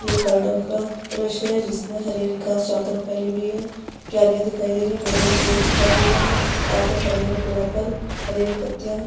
यह गार्डन का दृश्य है जिसमे हरी-हरी घास चारो तरफ फैली हुई है क्यरियाँ दिखाई दे रही है बड़े-बड़े पेड़ दिखाई दे रहे है चारो तरफ हरे-भरे पेड़ो पर हरी-हरी पत्तियाँ--